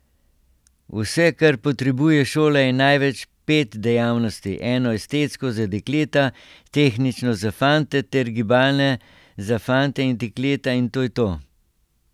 Vse, kar potrebuje šola, je največ pet dejavnosti, eno estetsko za dekleta, tehnično za fante ter gibalne za fante in dekleta in to je to.